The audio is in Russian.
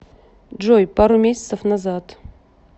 джой пару месяцев назад